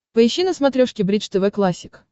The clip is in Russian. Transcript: поищи на смотрешке бридж тв классик